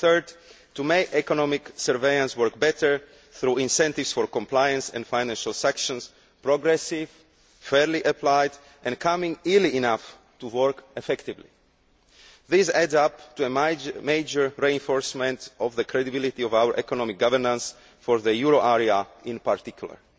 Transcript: and third, to make economic surveillance work better through incentives for compliance and financial sanctions which are progressive, fairly applied and applied early enough to work effectively. These add up to a major reinforcement of the credibility of our economic governance of the euro area in particular.